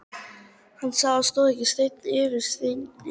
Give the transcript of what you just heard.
Hann sá að það stóð ekki steinn yfir steini.